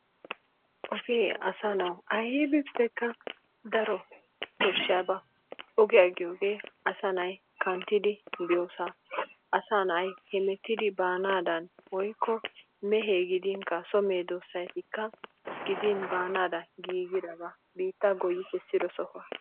ogee asaa nawu aybbikka daro koshshiyaba, ogiyaa giyooge asaa nay kanttidi biyoosa, asaa nay hemettidi baanadan woykko meeze gidinkka soo medoosatikka baanadan giigiraba, biitta goyyi kessiro sohuwaa.